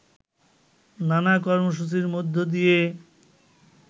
নানা কর্মসূচির মধ্য দিয়ে